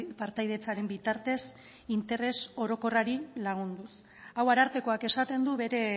partaidetzaren bitartez interes orokorrari lagunduz hau arartekoak esaten du bere